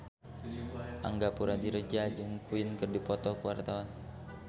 Angga Puradiredja jeung Queen keur dipoto ku wartawan